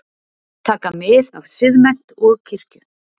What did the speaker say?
Taka mið af Siðmennt og kirkju